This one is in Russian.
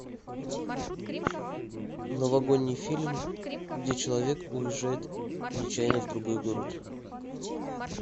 новогодний фильм где человек уезжает нечаянно в другой город